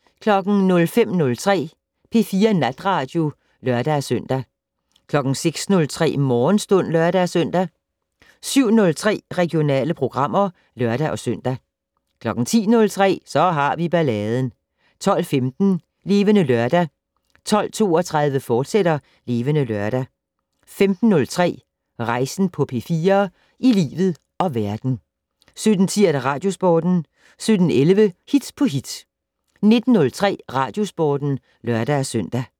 05:03: P4 Natradio (lør-søn) 06:03: Morgenstund (lør-søn) 07:03: Regionale programmer (lør-søn) 10:03: Så har vi balladen 12:15: Levende Lørdag 12:32: Levende Lørdag, fortsat 15:03: Rejsen på P4 - i livet og verden 17:10: Radiosporten 17:11: Hit på hit 19:03: Radiosporten (lør-søn)